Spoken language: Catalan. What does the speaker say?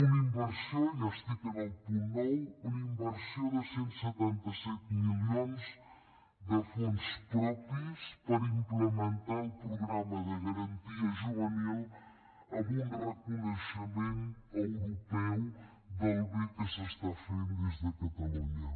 una inversió ja estic en el punt nou de cent i setanta set milions de fons propis per implementar el programa de garantia juvenil amb un reconeixement europeu de com de bé s’està fent des de catalunya